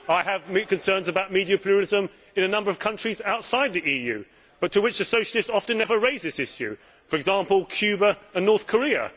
I have concerns about media pluralism in a number of countries outside the EU, but about which the Socialists often never raise this issue, for example, Cuba and North Korea.